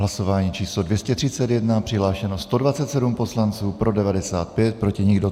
Hlasování číslo 231, přihlášeno 127 poslanců, pro 95, proti nikdo.